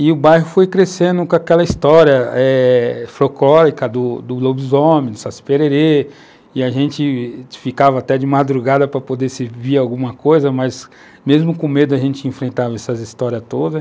E o bairro foi crescendo com aquela história eh folclórica do do lobisomem, do saci -pererê, e a gente ficava até de madrugada para poder se via alguma coisa, mas mesmo com medo a gente enfrentava essas histórias todas.